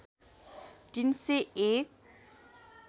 ३ सय १